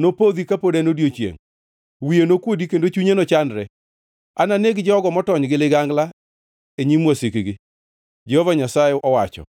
nopodhi kapod en odiechiengʼ; wiye nokuodi kendo chunye nochandre. Ananeg jogo motony gi ligangla, e nyim wasikgi,” Jehova Nyasaye owacho.